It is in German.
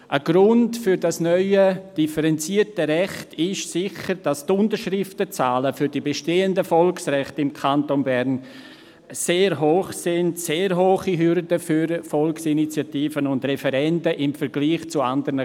Ein Grund für das neue, differenzierte Recht besteht sicher darin, dass die Unterschriftenzahlen für die bestehenden Volksrechte im Kanton Bern sehr hoch sind und im Vergleich zu anderen Kantonen sehr hohe Hürden für Volksinitiativen und Referenden darstellen.